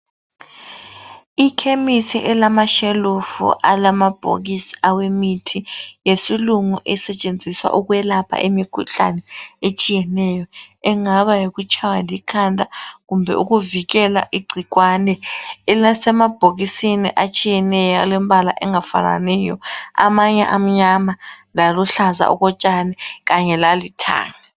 Ikhemisi elamashelufu alamabhokisi awemithi yesilungu esetshenziswa ukwelapha imikhuhlane etshiyeneyo. Engaba yikutshaywa likhanda. Kumbe ukuvikela igcikwane. Asemabhokisini alombala engafananiyo .Amanye amnyama laluhlaza okutshani kanye lalithanga.